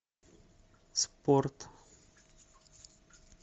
спорт